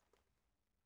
DR1